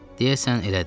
Deyəsən elədir.